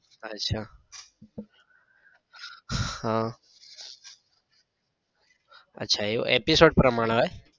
અચ્છા આહ અચ્છા એવું episode પ્રમાણે હોય